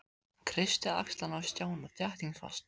Hann kreisti axlirnar á Stjána þéttingsfast.